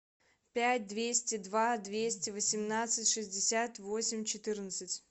пять двести два двести восемнадцать шестьдесят восемь четырнадцать